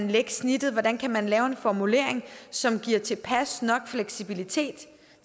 lægge snittet hvordan man kan lave en formulering som giver tilpas fleksibilitet